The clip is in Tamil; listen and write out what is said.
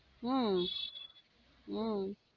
உம் உம் உம்